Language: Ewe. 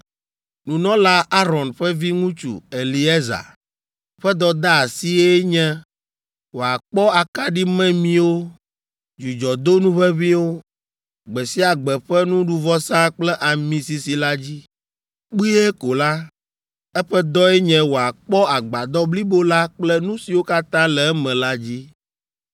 “Nunɔla Aron ƒe viŋutsu, Eleazar, ƒe dɔdeasie nye wòakpɔ akaɖimemiwo, dzudzɔdonu ʋeʋĩwo, gbe sia gbe ƒe nuɖuvɔsa kple ami sisi la dzi. Kpuie ko la, eƒe dɔe nye wòakpɔ Agbadɔ blibo la kple nu siwo katã le eme la dzi.”